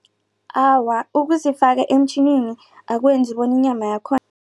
Awa, ukuzifaka eemtjhinini akwenzi bona inyama yakhona